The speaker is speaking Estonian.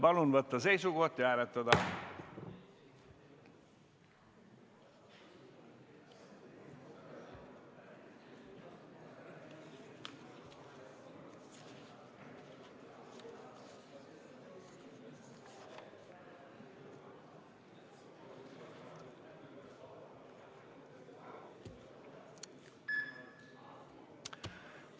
Palun võtta seisukoht ja hääletada!